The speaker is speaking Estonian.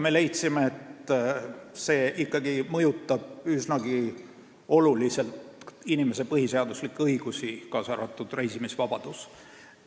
Me leidsime, et see mõjutab üsnagi oluliselt inimese põhiseaduslikke õigusi, kaasa arvatud reisimisvabadust.